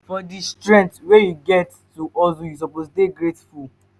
for di strength wey you get to hustle you suppose dey grateful.